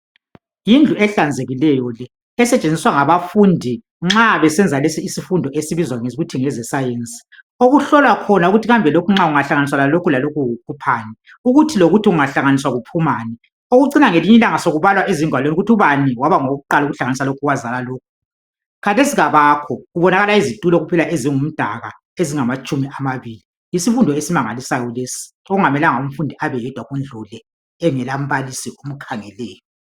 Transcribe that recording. Yindlu ehlanzekileyo le esetshenziswa ngabafundi nxa besenza lesi isifundo lesi esibizwa kuthiwe ngezescience okuhlolwa khona ukuthi kambe lokhu kungahlaniswa lokhu kukuphani ukuthi lokuthi kungahlanganiswa kuphumani uyezwa sokubala ezingwaleni ukuthi ubani waba ngowukuqala ukuhlanganisa lokhu khathec abakho kubonakala izitulo kuphela izingumdaka ezilitshumi amabili yisfundo esimangalisayo lesi okungamelanga umfundi abeyedwa Kundu le engela mbalisi omkhangeleyo